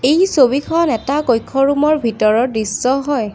এই ছবিখন এটা কক্ষৰুমৰ ভিতৰৰ দৃশ্য হয়।